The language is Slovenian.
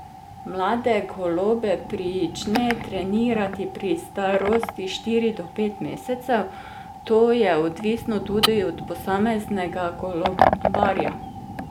Mlade golobe prične trenirati pri starosti štiri do pet mesecev: "To je odvisno tudi od posameznega golobarja.